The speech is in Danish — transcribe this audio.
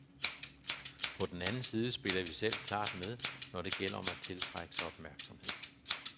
På den anden side spiller vi selv klart med, når det gælder om at tiltrække sig opmærksomhed.